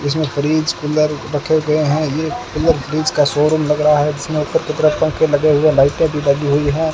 इसमें fridge cooler रखे गए हैं ये कूलर फ्रिज का शोरूम लग रहा है जिसमें ऊपर की तरफ पंखे लगे हुए लाइटे भी लगी हुई हैं।